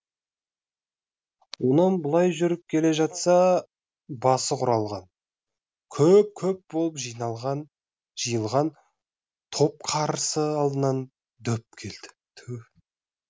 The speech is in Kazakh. онан былай жүріп келе жатса басы құралған көп көп болып жиылған топ қарсы алдынан дөп келді